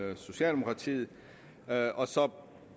med socialdemokratiet og så